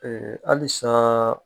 Ee hali saaa.